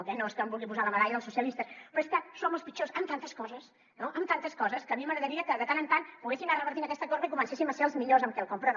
eh no és que em vulgui posar la medalla dels socialistes però és que som els pitjors en tantes coses no en tantes coses que a mi m’agradaria que de tant en tant poguéssim anar revertint aquesta corba i comencéssim a ser els millors en quelcom però no